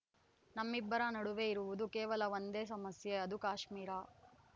ನಮ್ಮಿಬ್ಬರ ನಡುವೆ ಇರುವುದು ಕೇವಲ ಒಂದೇ ಸಮಸ್ಯೆ ಅದು ಕಾಶ್ಮೀರ